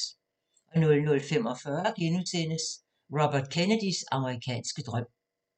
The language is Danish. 00:45: Robert Kennedys amerikanske drøm *